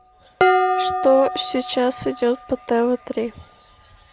что сейчас идет по тв три